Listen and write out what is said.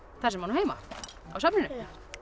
þar sem hann á heima á safninu